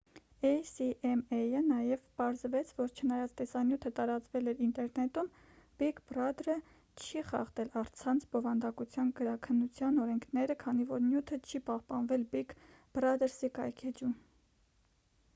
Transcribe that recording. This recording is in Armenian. էյ-սի-էմ-էյը նաև պարզեց որ չնայած տեսանյութը տարածվել էր ինտերնետում բիգ բրադրը չի խախտել առցանց բովանդակության գրաքննության օրենքները քանի որ նյութը չի պահպանվել բիգ բրադրսի կայքէջում